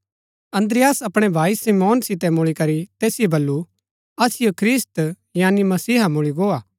अन्द्रियास अपणै भाई शमौन सितै मुळी करी तैसिओ बल्लू असिओ ख्रिस्त यानी मसीहा मुळी गो हा